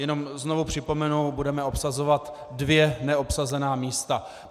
Jenom znovu připomenu, budeme obsazovat dvě neobsazená místa.